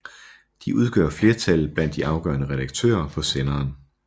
De udgør flertallet blandt de afgørende redaktører på senderen